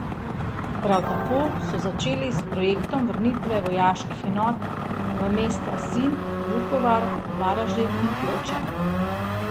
Prav tako so začeli s projektom vrnitve vojaških enot v mesta Sinj, Vukovar, Varaždin in Ploče.